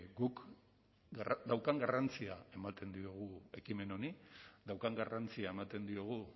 guk daukan garrantzia ematen diogu ekimen honi daukan garrantzia ematen diogu